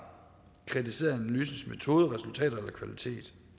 kritiseret analysens metode resultater eller kvalitet